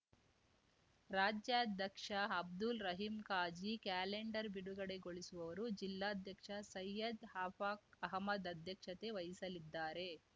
ರಾಜ್ಯಾಧ್ಯಕ್ಷ ಅಬ್ದುಲ್‌ ರಹೀಂಖಾಜಿ ಕ್ಯಾಲೆಂಡರ್‌ ಬಿಡುಗಡೆಗೊಳಿಸುವರು ಜಿಲ್ಲಾಧ್ಯಕ್ಷ ಸೈಯದ್‌ ಅಫಾಖ್‌ ಅಹಮದ್‌ ಅಧ್ಯಕ್ಷತೆ ವಹಿಸಲಿದ್ದಾರೆ